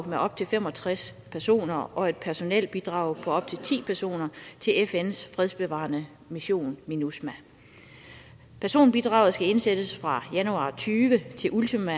med op til fem og tres personer og et personelbidrag på op til ti personer til fns fredsbevarende mission minusma personbidraget skal indsættes fra januar to og tyve til ultimo